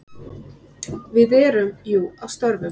Við erum jú að störfum.